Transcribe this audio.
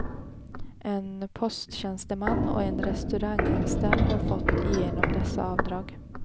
En posttjänsteman och en restauranganställd har fått igenom dessa avdrag.